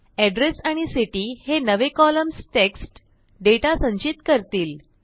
address आणि city हे नवे कॉलम्सTEXT डेटा संचित करतील